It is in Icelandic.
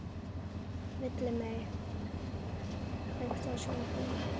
Villimey, kveiktu á sjónvarpinu.